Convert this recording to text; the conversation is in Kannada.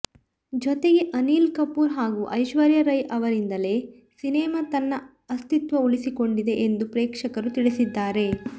ಜೊತೆಗೆ ಅನಿಲ್ ಕಪೂರ್ ಹಾಗೂ ಐಶ್ವರ್ಯ ರೈ ಅವರಿಂದಲೇ ಸಿನೆಮಾ ತನ್ನ ಅಸ್ತಿತ್ವ ಉಳಿಸಿಕೊಂಡಿದೆ ಎಂದು ಪ್ರೇಕ್ಷಕರು ತಿಳಿಸಿದ್ದಾರೆ